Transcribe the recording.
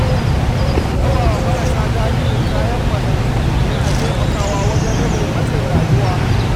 Rabawa marasa galihu kayan masarufi yana taimakawa wajen rage matsin rayuwa.